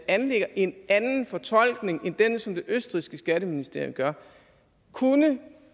anlægger en anden fortolkning end den som det østrigske skatteministerium gør kunne